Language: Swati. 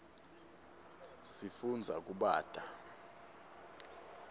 sifundza kubata